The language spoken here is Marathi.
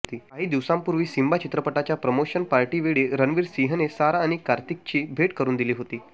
काही दिवसांपूर्वी सिंबा चित्रपटाच्या प्रमोशन पार्टीवेळी रणवीर सिंहने सारा आणि कार्तिकची भेट करून दिली होती